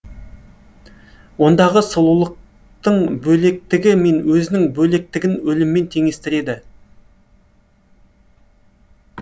ондағы сұлулықтың бөлектігі мен өзінің бөлектігін өліммен теңестіреді